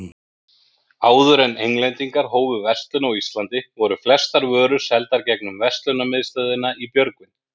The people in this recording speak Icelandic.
Áður en Englendingar hófu verslun á Íslandi, voru flestar vörur seldar gegnum verslunarmiðstöðina í Björgvin.